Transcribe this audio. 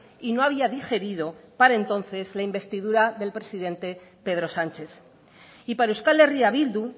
y no había digerido para entonces la investidura del presidente pedro sánchez y para euskal herria bildu